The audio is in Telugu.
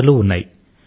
ఆటలూ ఉన్నాయి